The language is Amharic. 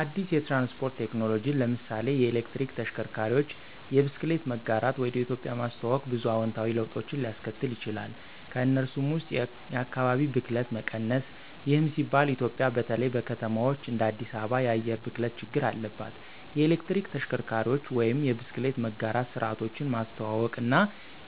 አዲስ የትራንስፖርት ቴክኖሎጂን (ለምሳሌ የኤሌክትሪክ ተሽከርካሪዎች፣ የብስክሌት መጋራት) ወደ ኢትዮጵያ ማስተዋወቅ ብዙ አዎንታዊ ለውጦችን ሊያስከትል ይችላል። ከእነሱም ውስጥ የአካባቢ ብክለት መቀነስ ይህም ሲባል ኢትዮጵያ በተለይ በከተማዎች እንደ አዲስ አበባ የአየር ብክለት ችግር አለባት። የኤሌክትሪክ ተሽከርካሪዎች ወይም የብስክሌት መጋራት ስርዓቶች ማስተዋውቀው እና